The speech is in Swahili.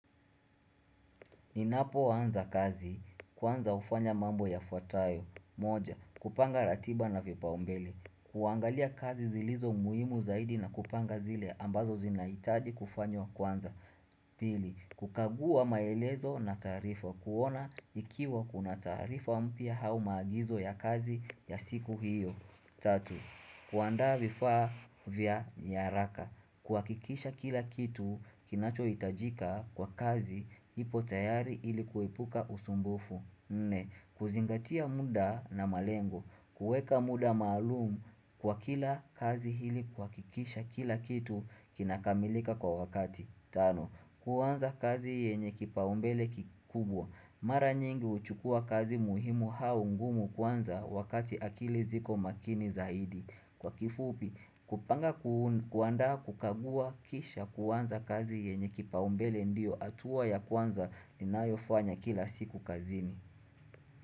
Ninapo wanza kazi. Kwanza ufanya mambo ya fuatayo. Moja. Kupanga ratiba na vipaombele. Kuangalia kazi zilizo muhimu zaidi na kupanga zile ambazo zinaitadi kufanyo kwanza. Pili. Kukagua maelezo na tarifa. Kuona ikiwa kuna tarifa mpia hau magizo ya kazi ya siku hiyo. 3. Kuanda vifaa vya niyaraka. Kwa kikisha kila kitu kinacho itajika kwa kazi ipo tayari ilikuwepuka usumbufu. 4. Kuzingatia muda na malengo. Kueka muda malumu kwa kila kazi hili kwa kikisha kila kitu kinakamilika kwa wakati. 5, kuwanza kazi yenye kipaumbele kikubwa. Mara nyingi uchukua kazi muhimu haungumu kwanza wakati akili ziko makini zaidi. Kwa kifupi, kupanga kuanda kukagua kisha kuwanza kazi yenye kipaumbele ndio atuwa ya kwanza lina yofanya kila siku kazini.